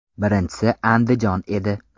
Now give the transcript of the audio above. Birinchisi Andijon edi.